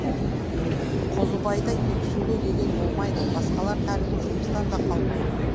қозыбайда екі сөйлеу деген болмайды басқалар тәрізді жұмыстан да қалмайды